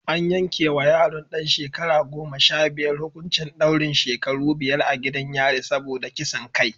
An yanke wa yaron ɗan shekara goma sha biyar hukuncin daurin shekaru biyar a gidan yari saboda kisan kai